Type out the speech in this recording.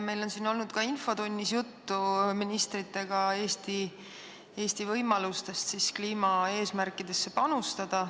Meil on siin infotunnis olnud ministritega juttu Eesti võimalustest kliimaeesmärkidesse panustada.